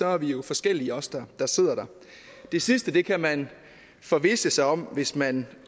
er vi jo forskellige os der der sidder der det sidste kan man forvisse sig om hvis man